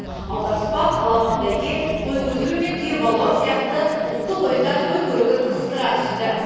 аударыспақ аламан бәйге қой көтеру мен түйе балуан сияқты ұлттық ойындар той көрігін қыздыра түсті